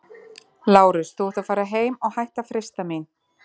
LÁRUS: Þú átt að fara heim- og hætta að freista mín!